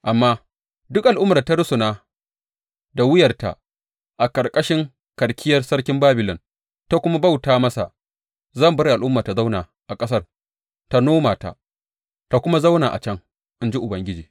Amma duk al’ummar da ta rusuna da wuyarta a ƙarƙashin karkiyar sarkin Babilon ta kuma bauta masa, zan bar al’ummar ta zauna a ƙasarta ta noma ta, ta kuma zauna a can, in ji Ubangiji.